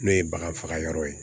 N'o ye bagan faga yɔrɔ ye